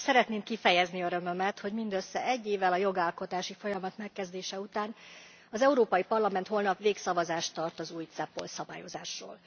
Szeretném kifejezni örömömet, hogy mindössze egy évvel a jogalkotási folyamat megkezdése után az Európai Parlament holnap végszavazást tart az új CEPOL szabályozásról.